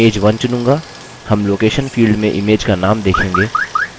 हम location field में image का name देखेंगे